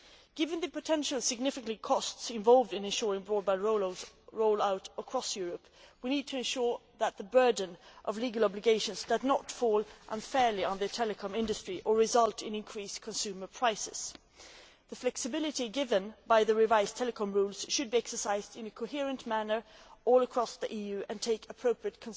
Given the potentially significant costs involved in ensuring broadband roll out across Europe, we need to ensure that the burden of legal obligations does not fall unfairly on the telecom industry or result in increased consumer prices. The flexibility given by the revised telecom rules should be exercised in a coherent manner right across the EU and take appropriate